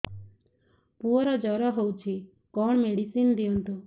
ପୁଅର ଜର ହଉଛି କଣ ମେଡିସିନ ଦିଅନ୍ତୁ